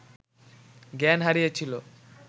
জ্ঞান হারিয়েছিল